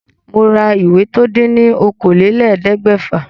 Mo ra ìwé tó dín ní okòólélẹ́ẹ̀ẹ́dẹ́gbẹ́fà